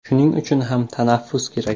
Shuning uchun ham tanaffus kerak.